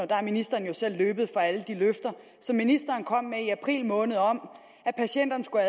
der er ministeren jo selv løbet fra alle de løfter som ministeren kom med i april måned om at patienterne skulle